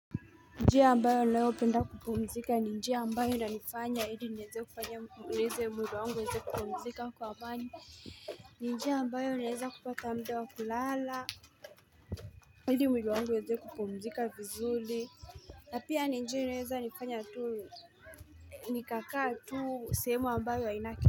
Njia ambayo leo penda kupumzika ni njia ambayo nanifanya ili nieze kufanya neeze mwili wangu nieze kupumzika kwa amani ni njia ambayo naeza kupata muda wa kulala Hili mwili wangu uweze kupumzika vizuli na pia njia inayoeza nifanya tuu Nikakaa tuu sehemu ambayo ainake.